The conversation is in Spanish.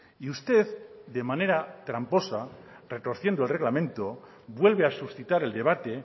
y usted de manera tramposa retorciendo el reglamento vuelve a suscitar el debate